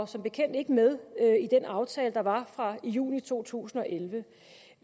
som bekendt ikke med i den aftale der var fra juni to tusind og elleve